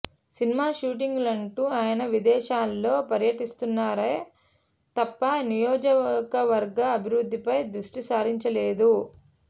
cinema షూటింగ్లంటూ ఆయన విదేశాలలో పర్యటిస్తున్నారే తప్ప నియోజకవర్గ అభివృద్ధిపై దృష్టిసారించలేదు